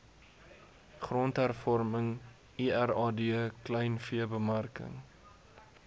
grondhervorming lrad kleinveebemarking